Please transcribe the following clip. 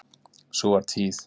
Sú var tíð.